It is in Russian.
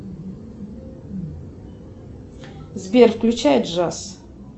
сбер включай джаз